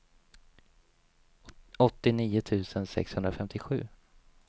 åttionio tusen sexhundrafemtiosju